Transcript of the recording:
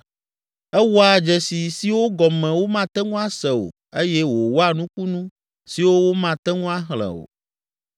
Ewɔa dzesi siwo gɔme womate ŋu ase o eye wòwɔa nukunu siwo womate ŋu axlẽ o.